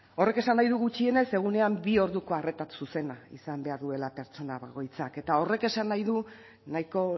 horrek esan nahi du gutxienez egunean bi orduko arreta zuzena izan behar duela pertsona bakoitzak eta horrek esan nahi du nahiko